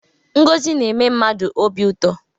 Ngozi na-eme mmadụ obi ụtọ.